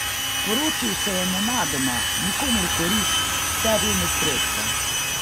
Poročil se je nenadoma, nikomur v korist, sebi v nesrečo.